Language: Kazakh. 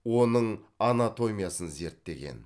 оның анатомиясын зерттеген